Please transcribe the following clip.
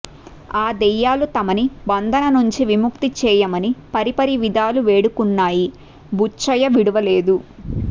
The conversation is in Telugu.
ఆ దెయ్యాలు తమను బంధన నుంచి విముక్తిచేయమని పరిపరి విధాలు వేడుకున్నాయి బుచ్చయ్య విడువలేదు